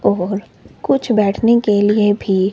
और कुछ बैठने के लिए भी--